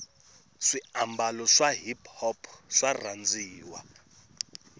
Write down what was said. swi ababalo swa hiphop swarhandziwa